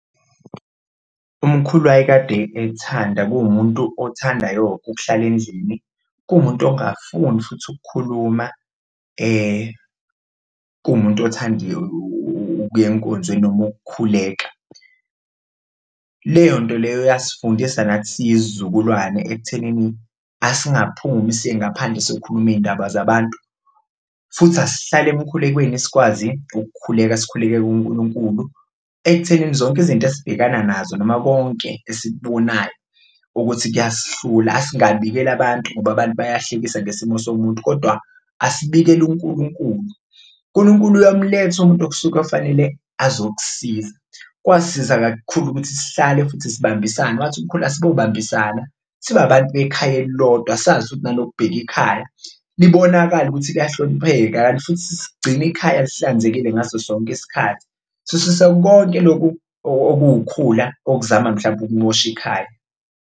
Umkhulu wayekade ekuthanda kuwumuntu othandayo ukuhlala endlini, kuwumuntu ongafuni futhi ukukhuluma, kuwumuntu othanda ukuya enkonzweni noma ukukhuleka, leyo nto leyo yasifundisa nathi siyisizukulwane ekuthenini asingaphumi siye ngaphandle siyokhuluma iy'ndaba zabantu futhi asihlale emkhulekweni sikwazi ukukhuleka. Sikhuleke kuNkulunkulu ekuthenini zonke izinto esibhekana nazo noma konke esikubonayo ukuthi kuyasihlula asingabikeli abantu ngoba abantu bayahlekisa ngesimo somuntu kodwa asibekele uNkulunkulu, uNkulunkulu uyamuletha umuntu okusuke okufanele azokusiza, kwasiza kakhulu ukuthi sihlale futhi sibambisane. Wathi umkhulu asibobambisana, sibe abantu bekhaya elilodwa, sazi futhi nanokubheka ikhaya, libonakale ukuthi liyahlonipheka, kanti futhi sigcine ikhaya lihlanzekile ngaso sonke isikhathi, sisuse konke loku okuwukhula okuzama mhlampe ukumosha ikhaya.